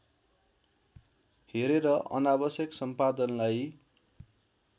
हेरेर अनावश्यक सम्पादनलाई